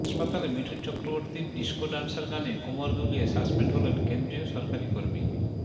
হাসপাতালে মিঠুন চক্রবর্তীর disco dancer গানে কোমর দুলিয়ে সাসপেন্ড হলেন কেন্দ্রীয় সরকারি কর্মী